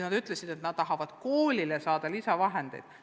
Nad ütlesid, et nad tahavad koolile saada lisavahendeid.